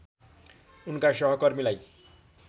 उनका सहकर्मीलाई